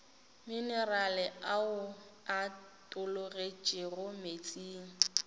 minerale ao a tologetšego meetseng